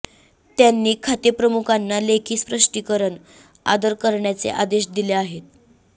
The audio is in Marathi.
त्यांनी खातेप्रमुखांना लेखी स्पष्टीकरण सादर करण्याचे आदेश दिले आहेत